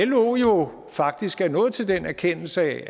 lo er jo faktisk nået til den erkendelse at